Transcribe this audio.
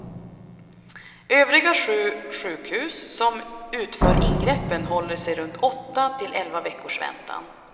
Övriga sju sjukhus, som utför ingreppen håller sig runt åtta till elva veckors väntan.